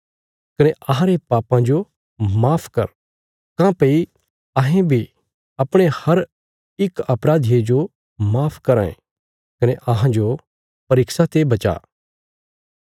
कने अहांरे पापां जो माफ कर काँह्भई अहें बी अपणे हर इक अपराधिये जो माफ कराँ ये कने अहांजो परीक्षा ते बचा